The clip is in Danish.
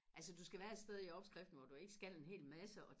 altså du skal være et sted i opskriften hvor du ikke skal en hel masse og